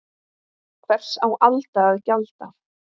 Hvers á Alda að gjalda?